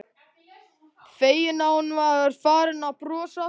Feginn að hún var farin að brosa aftur.